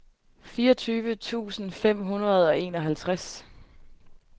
fireogtyve tusind fem hundrede og enoghalvtreds